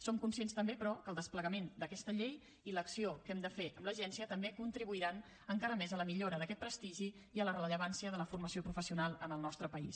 som conscients també però que el desplegament d’aquesta llei i l’acció que hem de fer amb l’agència també contribuiran encara més a la millora d’aquest prestigi i a la rellevància de la formació professional en el nostre país